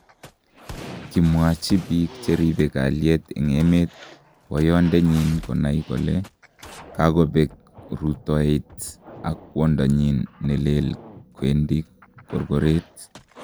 "Kimwachi biik cheribe kalyet en emet boyondenyin konai kole kakobeek ruutoet ako kwondonyin nelel kwendi korkoret